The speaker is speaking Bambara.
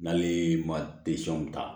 N'ale ma ta